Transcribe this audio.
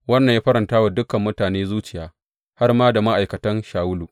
Wannan ya faranta wa dukan mutane zuciya har ma da ma’aikatan Shawulu.